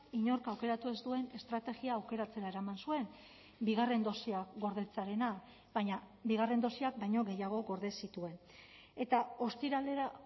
inork aukeratu ez duen estrategia aukeratzera eraman zuen bigarren dosia gordetzearena baina bigarren dosiak baino gehiago gorde zituen eta ostiralera